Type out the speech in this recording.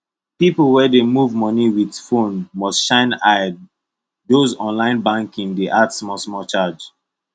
people wey dey move money with phone must shine eye those online banking dey add smallsmall charge